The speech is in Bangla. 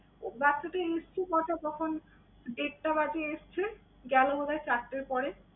ও বাচ্চাটা এসেছে তখন দেড়টা বাজে এসছে, গেলো বোধহয় চারটার পরে।